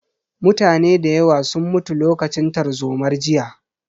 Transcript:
Mutane da yawa sun mutu lokacin tarzomar jiya